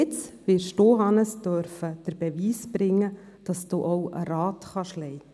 Jetzt werden Sie, Hannes Zaugg, den Beweis erbringen dürfen, dass Sie auch einen Rat leiten können.